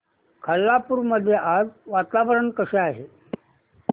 खालापूर मध्ये आज वातावरण कसे आहे